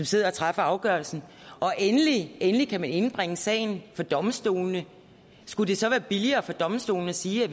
sidder og træffer afgørelsen og endelig endelig kan sagen indbringes for domstolene skulle det så være billigere for domstolene at sige at